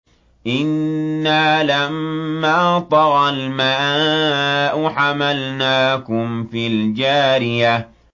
إِنَّا لَمَّا طَغَى الْمَاءُ حَمَلْنَاكُمْ فِي الْجَارِيَةِ